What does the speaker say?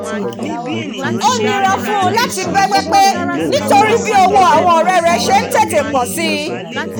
ó nira fún láti bẹ́gbẹ́ pé nítorí bí owó àwọn ọ̀rẹ́ rẹ̀ ṣe ń tètè pọ̀ si